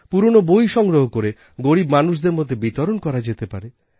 পুরোনো বই সংগ্রহ করে গরীব মানুষদের মধ্যে বিতরণ করা যেতে পারে